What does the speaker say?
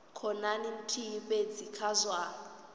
khonani nthihi fhedzi kha zwa